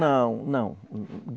Não, não.